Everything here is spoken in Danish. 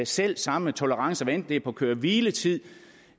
selv samme tolerancegrænser det er på køre hvile tid